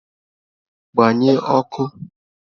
Gbanyi ọkụ!